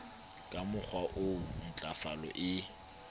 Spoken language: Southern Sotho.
ka mokgowa oo ntlafalo e